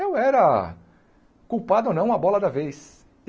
Eu era culpado ou não, a bola da vez.